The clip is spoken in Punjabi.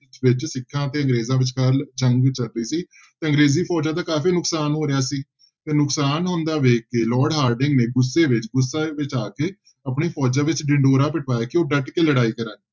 ਵਿੱਚ ਸਿੱਖਾਂ ਅਤੇ ਅੰਗਰੇਜ਼ਾਂ ਵਿਚਕਾਰ ਜੰਗ ਚੱਲ ਰਹੀ ਸੀ ਤੇ ਅੰਗਰੇਜ਼ੀ ਫੋਜ਼ਾਂ ਦਾ ਕਾਫ਼ੀ ਨੁਕਸਾਨ ਹੋ ਰਿਹਾ ਸੀ ਤੇ ਨੁਕਸਾਨ ਹੁੰਦਾ ਵੇਖ ਕੇ ਲਾਰਡ ਹਾਰਡਿੰਗ ਨੇ ਗੁੱਸੇ ਵਿੱਚ ਗੁੱਸੇ ਵਿੱਚ ਆ ਕੇ ਆਪਣੀ ਫੋਜ਼ਾਂ ਵਿੱਚ ਢਿਡੋਰਾ ਪਿਟਵਾਇਆ ਕਿ ਉਹ ਡਟ ਕੇ ਲੜਾਈ ਕਰਨ।